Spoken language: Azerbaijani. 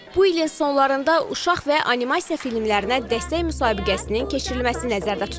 Bu ilin sonlarında uşaq və animasiya filmlərinə dəstək müsabiqəsinin keçirilməsi nəzərdə tutulur.